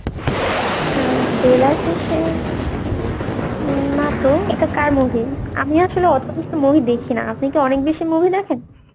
অ্যাঁ বেলাশেষে না তো, এটা কার movie? আমি আসলে অত বেশি movie দেখি না, আপনি কি অনেক বেশি movie দেখেন?